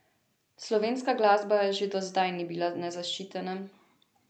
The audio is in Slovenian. Slovenska glasba že do zdaj ni bila nezaščitena.